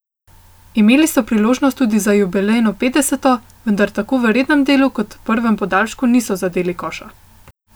Imeli so priložnost tudi za jubilejno petdeseto, vendar tako v rednem delu kot prvem podaljšku niso zadeli koša.